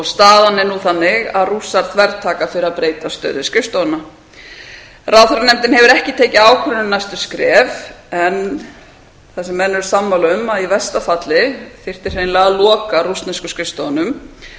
staðan er nú þannig að rússar þvertaka fyrir að breyta stöðu skrifstofunnar ráðherra nefndin hefur ekki tekið ákvörðun um næstu skref en það sem menn eru sammála um að í versta falli þyrfti hreinlega að loka rússnesku skrifstofunum sem